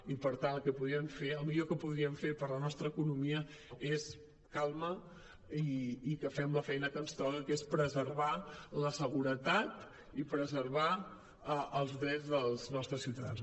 i per tant el que millor que podríem fer per la nostra economia és calma i que fem la feina que ens toca que és preservar la seguretat i preservar els drets dels nos·tres ciutadans